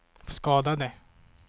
skadade